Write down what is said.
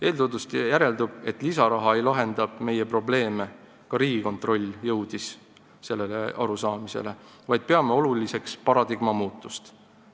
Eeltoodust järeldub, et lisaraha ei lahenda meie probleeme , vaid me peame oluliseks paradigma muutust.